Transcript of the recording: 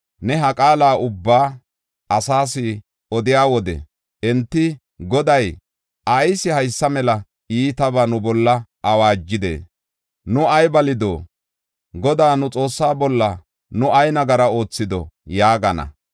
“Ne ha qaala ubbaa asaas odiya wode, enti, ‘Goday ayis haysa mela iitabaa nu bolla awaajidee? Nu ay balido? Godaa, nu Xoossaa bolla nu ay nagara oothido?’ ” yaagana.